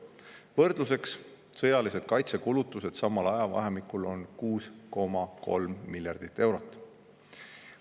Võrdluseks: sõjalised kaitsekulutused samal ajavahemikul on 6,3 miljardit eurot.